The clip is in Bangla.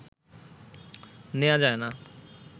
নেয়া যায়না